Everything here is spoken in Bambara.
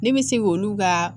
Ne bɛ se k'olu ka